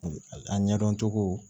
A ɲɛdɔn cogo